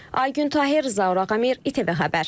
Aygün Tahir, Zaur Ağamir, ITV Xəbər.